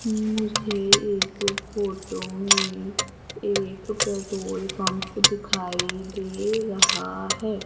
मुझे इस फोटो में एक पेट्रोल पंप दिखाई दे रहा है।